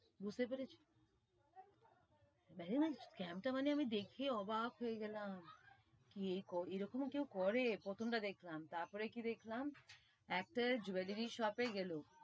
বুঝতে পেরেছো, scam টা মানে আমি দেখে অবাক হয়ে গেলাম, কে এরকম কেউ করে, প্রথম টা দেখলাম, তার পরে কি দেখলাম, একটা jewellery shop এ গেলো,